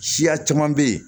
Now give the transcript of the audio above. Siya caman bɛ yen